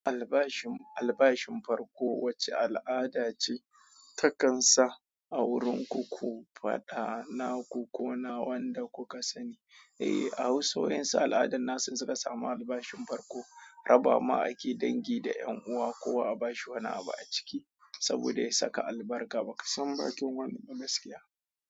Albashin, albashin farko wace al'ada ce ta kan sa a wurin ku ku faɗa na ku ko na wanda kuka sani. Eh, a wasu yawansu al'adun nasu suka samu albashin farko, raba ma ake dangi da ƴan uwa ko a bashi wani abu a ciki saboda ya saka albarka. Bakan san bakin wani ba gaskiya.